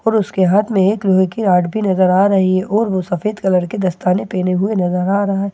और उसके हाथ में एक लोहे की रॉड भी नजर आ रही है और वो सफेद कलर के दस्ताने पहने नजर आ रहा है।